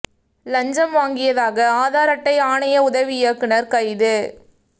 லஞ்சம் வாங்கியதாக ஆதார் அட்டை ஆணைய உதவி இயக்குனர் கைது